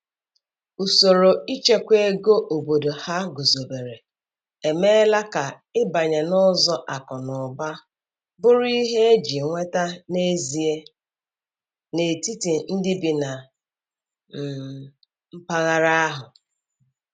Usoro ịchekwa ego obodo ha guzobere emeela ka ịbanye n’ụzọ akụ na ụba bụrụ ihe e ji nweta n’ezie n’etiti ndị bi na um mpaghara ahụ